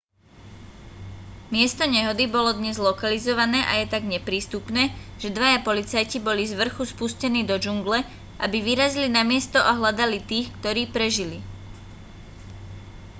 miesto nehody bolo dnes lokalizované a je tak neprístupné že dvaja policajti boli zvrchu spustení do džungle aby vyrazili na miesto a hľadali tých ktorí prežili